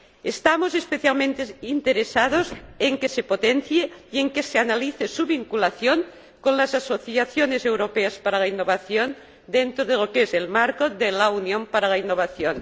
Estamos especialmente interesados en que se potencie y en que se analice su vinculación con las asociaciones europeas para la innovación dentro del marco de la Unión para la Innovación.